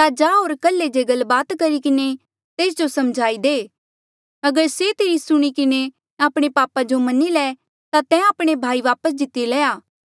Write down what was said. ता जा होर कल्हे जे गलबात करी किन्हें तेस जो समझाई दे अगर से तेरी सुणी किन्हें आपणे पापा जो मनी ले ता तैं आपणा भाई वापस जीती लेया